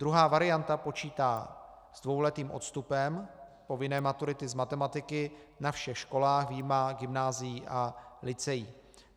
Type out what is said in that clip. Druhá varianta počítá s dvouletým odstupem povinné maturity z matematiky na všech školách vyjma gymnázií a lyceí.